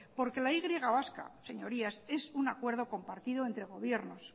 porque la y vasca señorías es un acuerdo compartido entre gobiernos